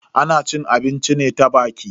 Ana cin abinci ne ta baki.